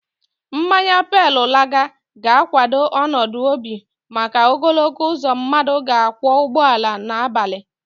Mmanya pale laga ga-kwado ọnọdụ obi maka ogologo uzo mmadụ ga-akwọ ụgbọala n'abalị.